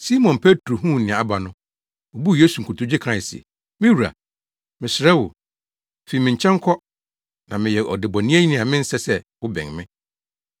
Simon Petro huu nea aba no, obuu Yesu nkotodwe kae se, “Me wura, mesrɛ wo fi me nkyɛn kɔ na meyɛ ɔdebɔneyɛni a mensɛ sɛ wobɛn me.”